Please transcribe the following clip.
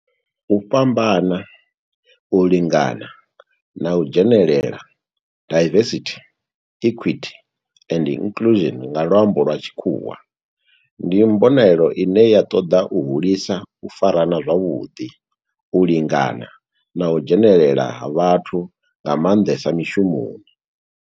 U fhambana, u lingana na u dzhenelela, diversity, equity and inclusion nga lwambo lwa tshikhuwa, ndi mbonelelo ine ya toda u hulisa u farana zwavhudi, u lingana na u dzhenelela ha vhathu nga mandesa mishumoni.